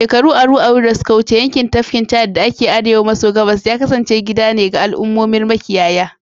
Shekaru aru-aru da suka wuce, yankin tafkin Chadi da ke arewa maso gabas ya kasance gida ne ga al'ummomar makiyaya